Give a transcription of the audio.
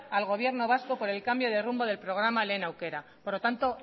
al gobierno vasco por el cambio de rumbo del programa lehen aukera por lo tanto